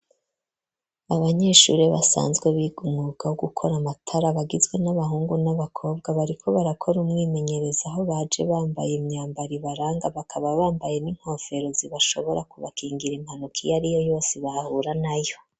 Abanyeshure, basanzwe biga, umwuga wo gukora amatara, bagizwe n'abahungu, n'abakobwa, bariko barakora, umwimenyerezo; aho baje bambaye, imyambaro ibaranga, bakaba bambaye, n'inkofero, zibashobora kubakingira, impanuka, iyo ari yo yose, bahura nayo.